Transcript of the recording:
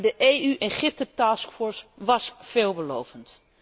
Maar de EU Egypte task force was veelbelovend.